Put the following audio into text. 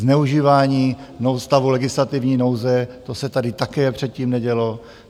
Zneužívání stavu legislativní nouze, to se tady také předtím nedělo.